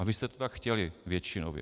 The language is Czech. A vy jste to tak chtěli, většinově.